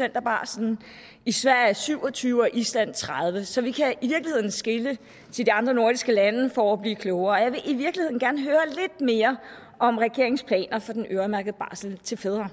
af barslen i sverige syv og tyve procent og i island tredive procent så vi kan i virkeligheden skele til de andre nordiske lande for at blive klogere og jeg vil i virkeligheden gerne høre lidt mere om regeringens planer for den øremærkede barsel til fædre